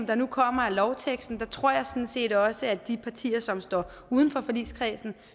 der nu kommer af lovteksten tror jeg sådan set også at de partier som står uden for forligskredsen